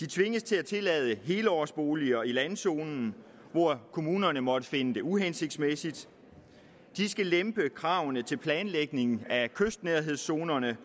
de tvinges til at tillade helårsboliger i landzoner hvor kommunerne måtte finde det uhensigtsmæssigt de skal lempe kravene til planlægning af kystnærhedszoner